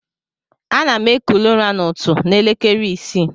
Anam ekuli ura na ụtụ na elekere isi.